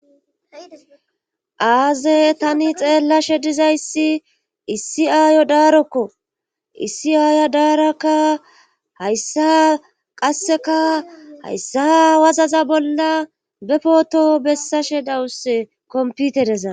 aaze tani xeellashe dizayssi issi aayo daarokko issi aaya daarakka hayssa qasseka hayssa wazaza bolla be pooto bessashe dawusse kompitedezaa